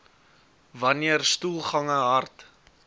wanneer stoelgange hard